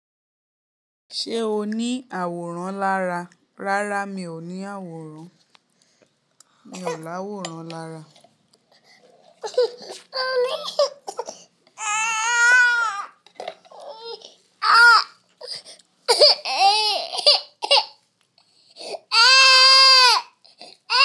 Ṣé o ní àwòrán lára? Rárá, mi ò ní àwòrán. Mi ò láwòrán lára.